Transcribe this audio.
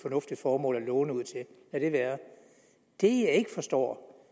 fornuftigt formål at låne ud til være det jeg ikke forstår